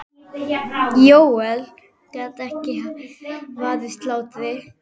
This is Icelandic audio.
Jóel gat ekki varist hlátri.